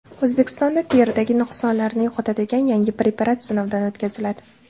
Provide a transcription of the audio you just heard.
O‘zbekistonda teridagi nuqsonlarni yo‘qotadigan yangi preparat sinovdan o‘tkaziladi.